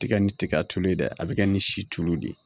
Tigɛ ni tiga tulu ye dɛ a bi kɛ ni si tulu de ye